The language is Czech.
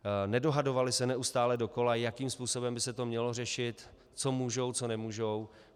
Nedohadovali se neustále dokola, jakým způsobem by se to mělo řešit, co můžou, co nemůžou.